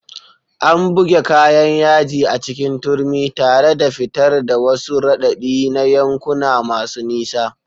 An buge kayan yaji a cikin turmi, tare da fitar da wasu raɗaɗi na yankuna masu nisa.